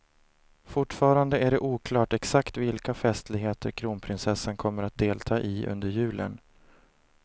Fortfarande är det oklart exakt vilka festligheter kronprinsessan kommer att delta i under julen.